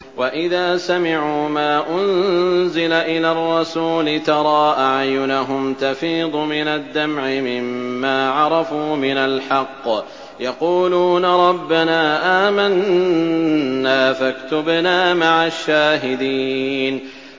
وَإِذَا سَمِعُوا مَا أُنزِلَ إِلَى الرَّسُولِ تَرَىٰ أَعْيُنَهُمْ تَفِيضُ مِنَ الدَّمْعِ مِمَّا عَرَفُوا مِنَ الْحَقِّ ۖ يَقُولُونَ رَبَّنَا آمَنَّا فَاكْتُبْنَا مَعَ الشَّاهِدِينَ